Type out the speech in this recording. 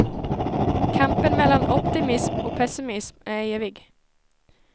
Kampen mellan optimism och pessimism är evig.